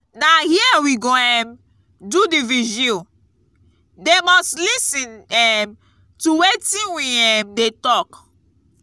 na here we go um do the vigil. they must lis ten um to wetin we um dey talk.